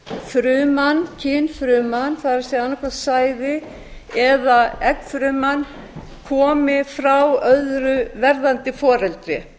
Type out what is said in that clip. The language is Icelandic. fruman kynfruman það er annað hvort sæði eða eggfruman komi frá öðru verðandi foreldri